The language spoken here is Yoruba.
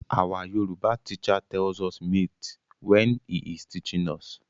Our Yoruba teacher tells us myths when he is teaching us.